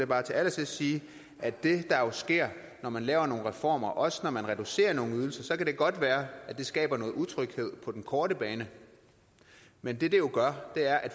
bare til allersidst sige at det der sker når man laver nogle reformer også når man reducerer nogle ydelser at det kan godt være at det skaber noget utryghed på den korte bane men det det jo gør er at